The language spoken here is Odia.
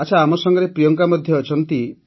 ଆଚ୍ଛା ଆମ ସାଂଗରେ ପ୍ରିୟଙ୍କା ମଧ୍ୟ ଅଛନ୍ତି